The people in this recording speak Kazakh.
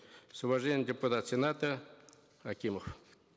с уважением депутат сената акимов